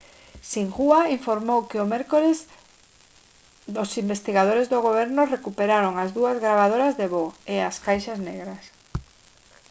xinhua informou que o mércores os investigadores do goberno recuperaron as dúas gravadoras de voo: as «caixas negras»